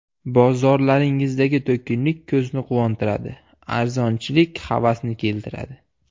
Bozorlaringizdagi to‘kinlik ko‘zni quvontiradi, arzonchilik havasni keltiradi.